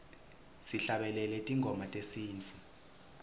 sihlabelele tingoma tesintfu